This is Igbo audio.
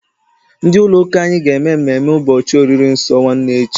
Ndị ụlọ ụka anyị ga-eme mmemme ụbọchị oriri nsọ nwanne echi.